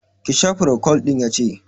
Ki sha procold ɗin'! Ya ce